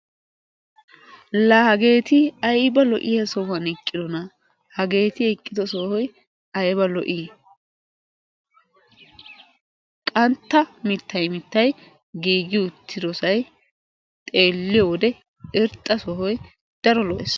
la hageti aybba lo''iyaa sohuwaan eqqidoona! hageeti eqqido sohoy aybba lo''i! qantta mittay mittay giigi uttidsy xeeliyoode irxxasay sohoy lo''ees.